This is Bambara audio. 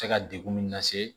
Cɛ ka degun min lase